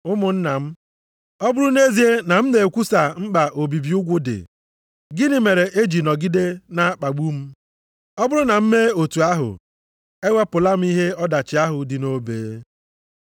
Ụmụnna m, ọ bụrụ nʼezie na m na-ekwusa mkpa obibi ugwu dị, gịnị mere e ji nọgide na-akpagbu m? Ọ bụrụ na m mee otu ahụ, ewepụla m ihe ọdachi ahụ dị nʼobe.